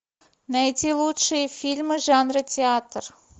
найти лучшие фильмы жанра театр